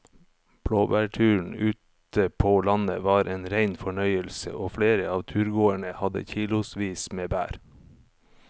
Blåbærturen ute på landet var en rein fornøyelse og flere av turgåerene hadde kilosvis med bær.